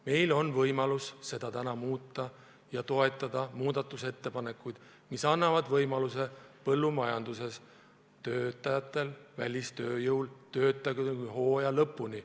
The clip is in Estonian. Meil on võimalus seda olukorda täna muuta ja toetada muudatusettepanekuid, mis annavad põllumajanduses töötajatele, välistööjõule võimaluse töötada siin hooaja lõpuni.